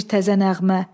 Bir təzə nəğmə.